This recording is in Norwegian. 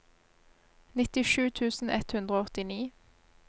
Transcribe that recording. nittisju tusen ett hundre og åttini